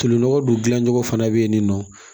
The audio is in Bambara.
Tolinɔgɔ dun gilan cogo fana bɛ yen nin nɔ